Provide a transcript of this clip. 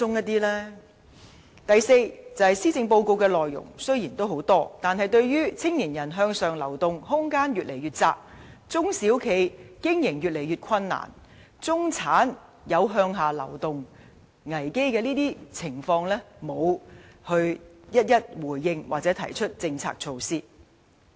第四，雖然施政報告內容豐富，但對於青年人向上流動空間越見狹窄、中小企經營日益困難，以及中產面對向下流動危機等情況，政府卻沒有逐一回應或提出政策、措施。